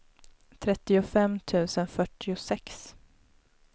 trettiofem tusen fyrtiosex